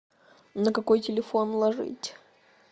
на какой телефон ложить